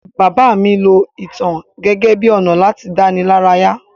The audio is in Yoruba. Bàbá mí lo ìtàn gẹ́gẹ́ bi ọ̀nà láti dánilaraya